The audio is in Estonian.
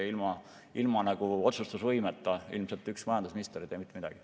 Ilma otsustusvõimeta ilmselt üks majandusminister ei tee mitte midagi.